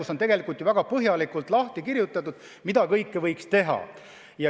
Selles on väga põhjalikult lahti kirjutatud, mida kõike võiks teha.